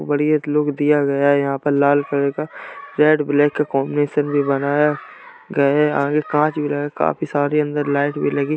बढ़िया लुक दिया गया है। यहाँ पर लाल कलर का रेड ब्लैक का कॉन्बिनेशन भी बनाया गया है। आगे कांच भी लगा है। काफी सारी अंदर लाइट भी लगी।